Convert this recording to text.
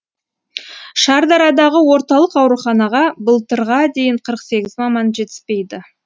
шардарадағы орталық ауруханаға былтырға дейін қырық сегіз маман жетіспейтін